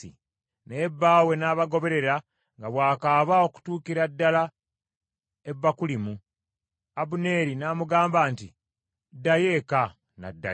Naye bba we n’abagoberera, nga bw’akaaba okutuukira ddala, e Bakulimu. Abuneeri n’amugamba nti, “Ddayo eka. N’addayo.”